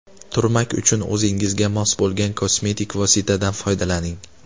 Turmak uchun o‘zingizga mos bo‘lgan kosmetik vositadan foydalaning.